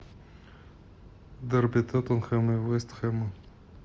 дерби тоттенхэм и вест хэм